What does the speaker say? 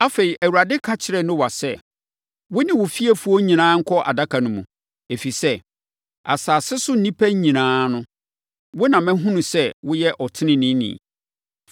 Afei, Awurade ka kyerɛɛ Noa sɛ, “Wo ne wo fiefoɔ nyinaa nkɔ Adaka no mu, ɛfiri sɛ, asase so nnipa nyinaa no, wo na mahunu sɛ woyɛ ɔteneneeni.